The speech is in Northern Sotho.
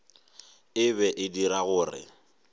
e be e dira gore